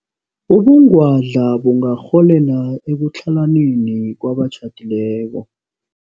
Ubungwadla bungarholela ekutlhalaneni kwabatjhadileko.